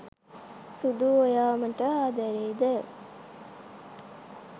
සුදු ඔයා මට ආදරේද